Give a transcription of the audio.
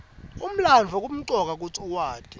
umlandvo kumcoka kutsi uwati